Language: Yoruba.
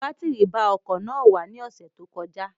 Batiri ba ọkọ̀ náà wà ní ọ̀sẹ̀ tó kọjá